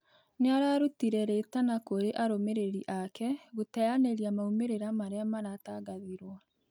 Nĩararutĩre rĩtana kurĩ arumĩrĩri ake gũteyanĩrĩa maumĩrĩra marĩa maratangathirwo